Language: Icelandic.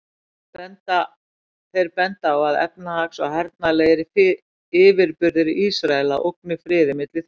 Þeir benda á að efnahags- og hernaðarlegir yfirburðir Ísraela ógni friði milli þjóðanna.